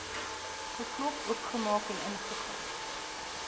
geklop oopgemaak ingegaan